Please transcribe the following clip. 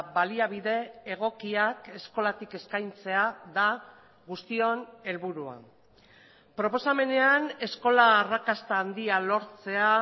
baliabide egokiak eskolatik eskaintzea da guztion helburua proposamenean eskola arrakasta handia lortzea